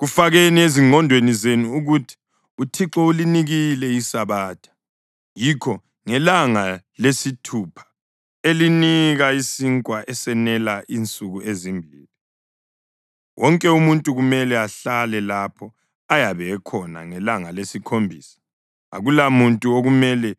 Kufakeni ezingqondweni zenu ukuthi uThixo ulinikile iSabatha, yikho ngelanga lesithupha elinika isinkwa esenela insuku ezimbili. Wonke umuntu kumele ahlale lapho ayabe ekhona ngelanga lesikhombisa. Akulamuntu okumele